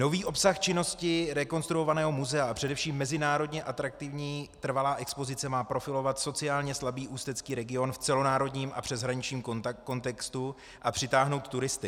Nový obsah činnosti rekonstruovaného muzea a především mezinárodně atraktivní trvalá expozice má profilovat sociálně slabý ústecký region v celonárodním a přeshraničním kontextu a přitáhnout turisty.